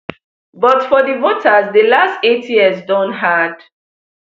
but for di voters di last eight years don hard